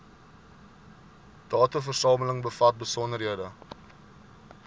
dataversameling bevat besonderhede